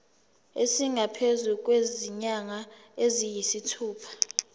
esingaphezu kwezinyanga eziyisithupha